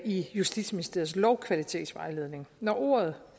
i justitsministeriets lovkvalitetsvejledning når ordet